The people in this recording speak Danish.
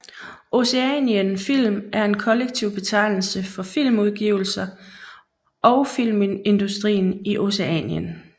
Oceanien film er en kollektiv betegnelse for film udgivelser og filmindustrien i Oceanien